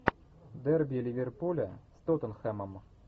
дерби ливерпуля с тоттенхэмом